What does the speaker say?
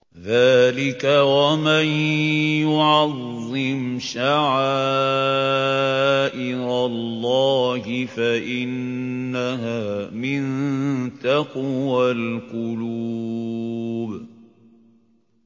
ذَٰلِكَ وَمَن يُعَظِّمْ شَعَائِرَ اللَّهِ فَإِنَّهَا مِن تَقْوَى الْقُلُوبِ